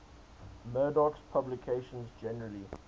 murdoch's publications generally